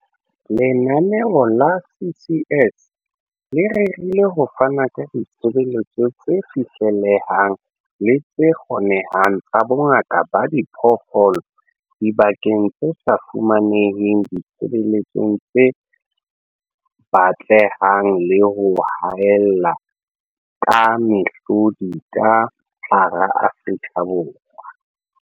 "Lenaneo la CCS le rerile ho fana ka ditshebeletso tse fihlellehang le tse kgonehang tsa bongaka ba diphoofolo dibakeng tse sa fumaneng ditshebeletso tse batlehang le ho haella ka mehlodi ka hara Afrika Borwa."